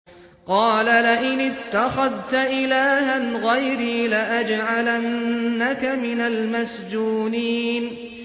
قَالَ لَئِنِ اتَّخَذْتَ إِلَٰهًا غَيْرِي لَأَجْعَلَنَّكَ مِنَ الْمَسْجُونِينَ